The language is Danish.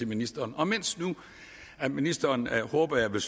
ministeren og mens nu ministeren håber jeg vil